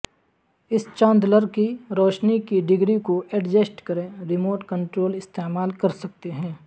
اس chandelier کی روشنی کی ڈگری کو ایڈجسٹ کریں ریموٹ کنٹرول استعمال کر سکتے ہیں